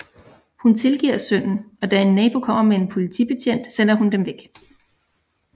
Hun tilgiver sønnen og da en nabo kommer med en politibetjent sender hun dem væk